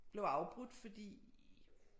Blev afbrudt fordi